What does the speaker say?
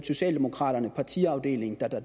socialdemokraternes partiafdelinger